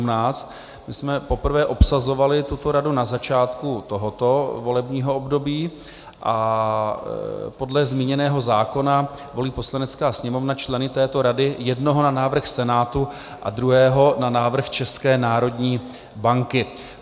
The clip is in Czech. My jsme poprvé obsazovali tuto radu na začátku tohoto volebního období a podle zmíněného zákona volí Poslanecká sněmovna členy této rady jednoho na návrh Senátu a druhého na návrh České národní banky.